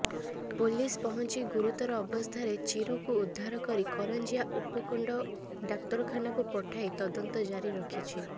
police ପହଞ୍ଚି ଗୁରୁତର ଅବସ୍ଥାରେ ଚିରୁକୁୁ ଉଦ୍ଧାର କରି କରଞ୍ଜିଆ ଉପକଣ୍ଡ ଡ଼ାକ୍ତରଖାନାକୁ ପଠାଇ ତଦନ୍ତ ଜାରି ରଖିଛି